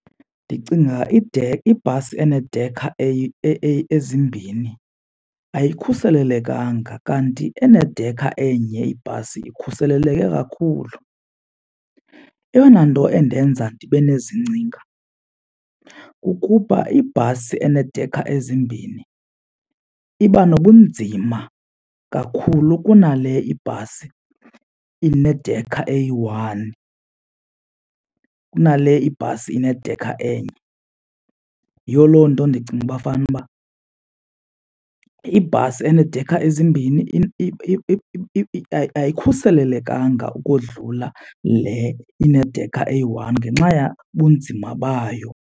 Ndicinga ibhasi eneedekha ezimbhini ayikhuselelekanga kanti enedekha enye ibhasi ikhuseleleke kakhulu. Eyona nto endenza ndibe nezi ngcinga kukuba ibhasi eneedekha ezimbini iba nobunzima kakhulu kuna le ibhasi inedekha eyi-one, kunale ibhasi inedekha enye. Yiyo loo nto ndicinga uba fanuba ibhasi eneedekha ezimbini ayikhuselelekanga ukodlula le inedekha eyi-one ngenxa yabunzima bayo.